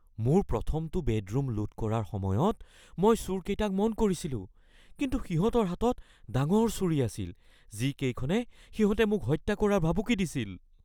মোৰ প্ৰথমটো বেডৰুম লুট কৰাৰ সময়ত মই চোৰকেইটাক মন কৰিছিলোঁ, কিন্তু সিহঁতৰ হাতত ডাঙৰ ছুৰী আছিল যিকেইখনে সিহঁতে মোক হত্যা কৰাৰ ভাবুকি দিছিল। (নাগৰিক)